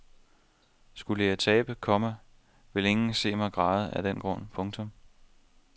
Skulle jeg tabe, komma vil ingen se mig græde af den grund. punktum